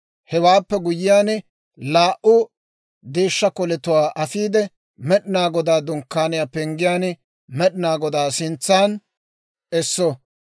Hewaappe guyyiyaan, laa"u deeshshaa koletuwaa afiide, Med'inaa Godaa Dunkkaaniyaa penggiyaan Med'inaa Godaa sintsan esso.